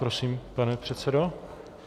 Prosím, pane předsedo.